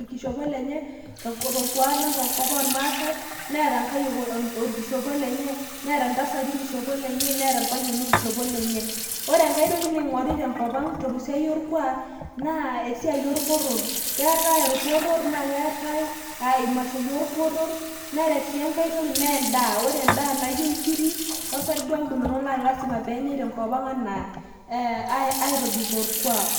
orkishopo leye, torkuaak lang'te nkop ooormaasae, neeta nkayiok orkishopo lenye, neeta ntasati orkishopo lenye, neeta irpayiani orkishopo lenye. ore enkae toki naing'ori tenkop ang' tesiai orkuaak, naa esiai orporor, keetae orporor, naa keteetae imashoi enye. ore sii enkae toki naa edaa. ore edaa naa ijo nkiri ,osarge omunono, aitobikoo orkuaak.